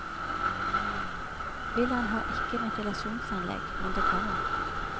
Villaen har ikke ventilasjonsanlegg, men det kommer.